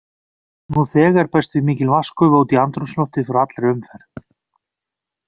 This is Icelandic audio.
Nú þegar berst því mikil vatnsgufa út í andrúmsloftið frá allri umferð.